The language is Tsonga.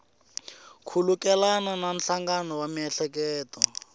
khulukelana na nhlangano wa miehleketo